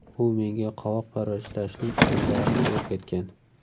U menga qovoq parvarishlashning usullarini o‘rgatgan.